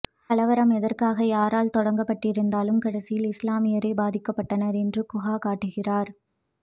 கலவரம் எதற்காக யாரால் தொடங்கப்பட்டிருந்தாலும் கடைசியில் இஸ்லாமியரே பாதிக்கப்பட்டனர் என்று குகா காட்டுகிறார்